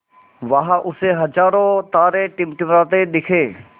वहाँ उसे हज़ारों तारे टिमटिमाते दिखे